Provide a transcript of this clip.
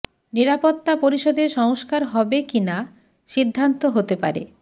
নিরাপত্তা পরিষদে সংস্কার হবে কি না সিদ্ধান্ত হতে পারে